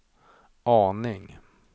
aning